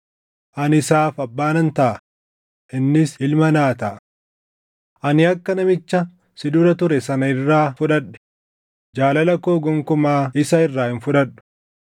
Ani isaaf abbaa nan taʼa; innis ilma naa taʼa. Ani akka namicha si dura ture sana irraa fudhadhe, jaalala koo gonkumaa isa irraa hin fudhadhu.